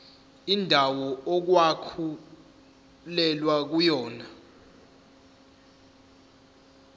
indawo okwakulwelwa kuyona